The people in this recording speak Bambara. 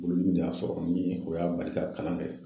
Bolodimi de y'a sɔrɔ min ye o y'a bali ka kalan kɛ